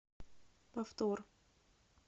повтор